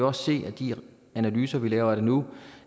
også se af de analyser vi laver af det nu